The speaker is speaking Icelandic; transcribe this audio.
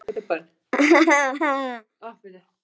Vill hvíla sig.